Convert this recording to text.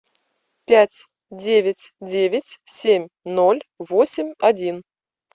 пять девять девять семь ноль восемь один